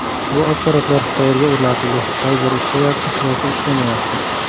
Bu apparatlar qayerga o‘rnatildi, qay biri ishlayapti yoki ishlamayapti?